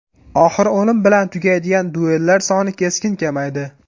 Oxiri o‘lim bilan tugaydigan duellar soni keskin kamaydi.